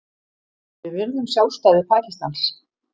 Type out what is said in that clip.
Við virðum sjálfstæði Pakistans